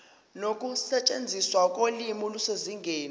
nokusetshenziswa kolimi kusezingeni